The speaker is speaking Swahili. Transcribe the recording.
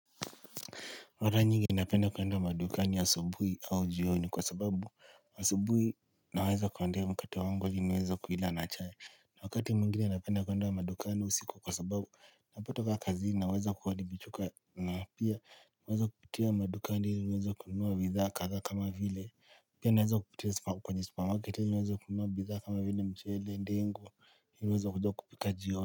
Mara nyingi ninapenda kuwenda madukani asubuhi au jioni kwa sababu asubuhi naweza kuendea mkate ili niweze kuila na chai niweza kuila na chai wakati muingine napenda kwenda wa madukani usiku kwa sababu Napotoka kazi naweza kuwadibichuka na pia niweza kupitia madukani niweza kununuua bidhaa kadhaa kama vile Pia naweza kupitia supa kwenye supamarket ili niweze kununua bidhaa kama vile mchele ndengu niweza kuja kupika jioni.